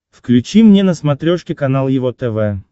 включи мне на смотрешке канал его тв